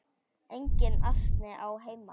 Enginn asi á þeim.